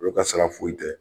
Olu ka sira foyi tɛ